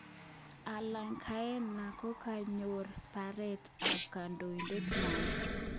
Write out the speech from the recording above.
Al_qaenda kokakoyan baret ab kondoidet nywan.